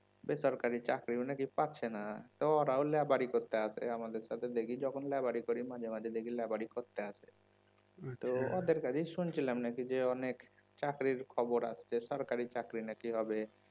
বেসরকারি চাকরিও নাকি পাচ্ছেনা তো ওরাও লেবারি করতে আসে আমাদের সাথে দেখি যখন লেবারি করি মাঝে মাঝে দেখি লেবারি করতে আসে ওদের কাছেই শুনছিলাম যে অনেক চাকরির খবর আসছে সরকারি চাকরিও নাকি হবে